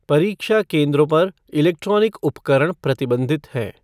परीक्षा केंद्रों पर इलेक्ट्रॉनिक उपकरण प्रतिबंधित हैं।